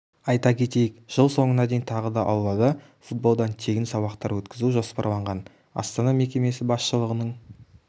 айта кетейік жыл соңына дейін тағы да аулада футболдан тегін сабақтар өткізу жоспарланған астана мекемесі басшылығының